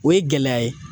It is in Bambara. O ye gɛlɛya ye